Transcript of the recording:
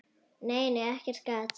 Nei, nei, ekkert gat!